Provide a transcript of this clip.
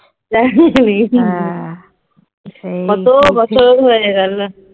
কত বছর হয়ে গেল